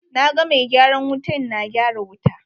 Na ga mai gyaran wutan na gyara wuta.